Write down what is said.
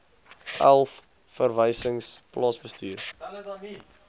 elf verwysings plaasbestuur